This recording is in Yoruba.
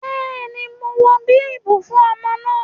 Bẹ́ẹ̀ni mo wọ bíbù fún ọmọ náà